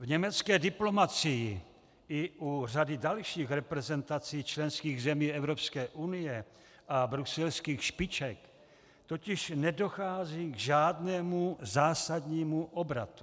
V německé diplomacii i u řady dalších reprezentací členských zemí Evropské unie a bruselských špiček totiž nedochází k žádnému zásadnímu obratu.